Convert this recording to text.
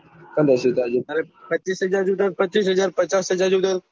તારે પચીસ હાજર જોયતા હોય તો પચીઈસ હાજર પચચાસ હાજર જોયતા હોય તો